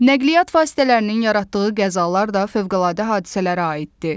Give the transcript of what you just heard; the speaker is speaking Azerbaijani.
Nəqliyyat vasitələrinin yaratdığı qəzalar da fövqəladə hadisələrə aiddir.